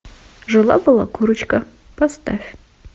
жила была курочка поставь